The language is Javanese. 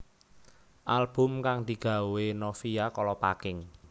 Album kang digawé Novia Kolopaking